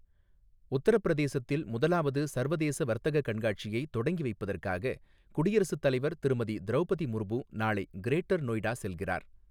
உத்தரபிரதேசத்தில் முதலாவது சர்வதேச வர்த்தக கண்காட்சியை தொடங்கி வைப்பதற்காக குடியரசுத் தலைவர் திருமதி திரௌபதி முர்மு நாளை கிரேட்டர் நொய்டா செல்கிறார்.